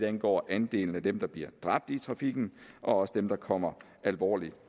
angår andelen af dem der bliver dræbt i trafikken og også dem der kommer alvorligt